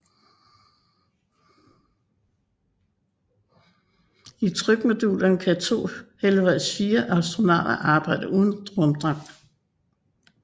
I trykmodulerne kan to henholdsvis fire astronauter arbejde uden rumdragter